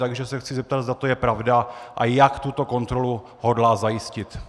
Takže se chci zeptat, zda to je pravda a jak tuto kontrolu hodlá zajistit.